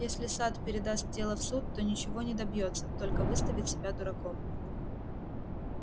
если сатт передаст дело в суд то ничего не добьётся только выставит себя дураком